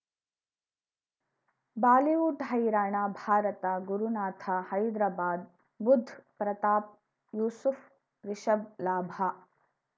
Bollywood ಹೈರಾಣ ಭಾರತ ಗುರುನಾಥ ಹೈದ್ರಾಬಾದ್ ಬುಧ್ ಪ್ರತಾಪ್ ಯೂಸುಫ್ ರಿಷಬ್ ಲಾಭ